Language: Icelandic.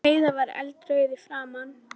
Heiða var eldrauð í framan.